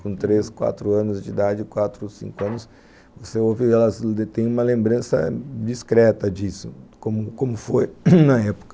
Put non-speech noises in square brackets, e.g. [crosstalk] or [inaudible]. Com três, quatro anos de idade, quatro, cinco anos, você ouve que elas têm uma lembrança discreta disso, como foi [coughs] na época.